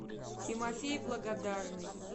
тимофей благодарный